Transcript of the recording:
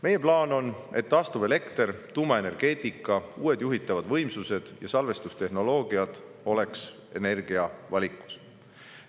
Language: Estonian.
Meie plaan on, et taastuvelekter, tuumaenergeetika, uued juhitavad võimsused ja salvestustehnoloogia oleks energiavalikus.